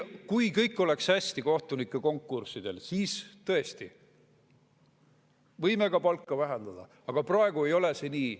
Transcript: Kui kõik oleks hästi kohtunikukonkurssidel, siis tõesti, võiksime ka palka vähendada, aga praegu ei ole see nii.